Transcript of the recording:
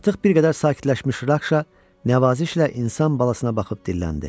Artıq bir qədər sakitləşmiş Rakşa nəvazişlə insan balasına baxıb dilləndi.